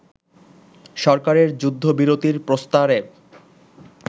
সরকারের যুদ্ধবিরতির প্রস্তাবের